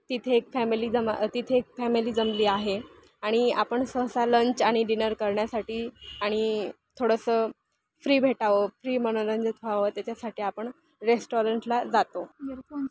तिथे एक फॅमिली जमा- तिथे एक फॅमिली जमली आहे आणि आपण सहसा लंच आणि डिनर करण्यासाठी आणि थोडासा फ्री भेटावं फ्री मनोरंजन व्हावं त्याच्यासाठी आपण रेस्टोरेंट ला जातो.